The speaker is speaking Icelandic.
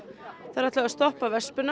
þær ætluðu að stoppa